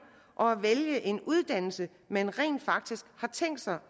og at vælge en uddannelse man rent faktisk har tænkt sig